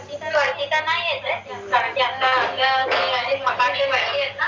ती त नाई येत ए